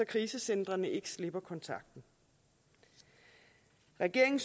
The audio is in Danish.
krisecentrene ikke slipper kontakten regeringen